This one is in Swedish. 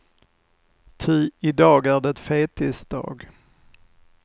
Ty i dag är det fettisdag.